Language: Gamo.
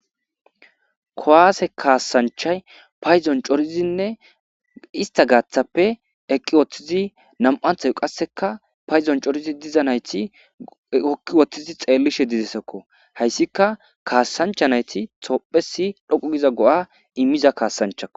Kowaase kaassanchay paydzon corizinne ista gaaththappe eqqi woththizi nam7anthay qasseka payzon corizi dziza nayti hokki woththizi xeellishe didzeesekko hayssika kaasancha nayti toophesi dhoqu giza go7a immiza kaassanchako.